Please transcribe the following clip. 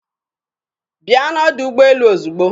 Bịa n'ọdọ ụgbọelu ozigbo!